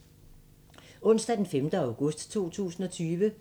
Onsdag d. 5. august 2020